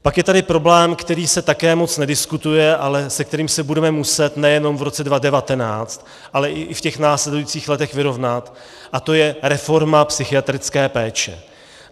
Pak je tady problém, který se také moc nediskutuje, ale se kterým se budeme muset nejenom v roce 2019, ale i v těch následujících letech vyrovnat, a to je reforma psychiatrické péče.